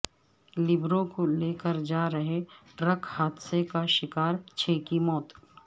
لیبروں کو لے کر جارہے ٹرک حادثے کا شکار چھ کی موت